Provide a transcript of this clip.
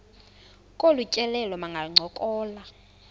kolu tyelelo bangancokola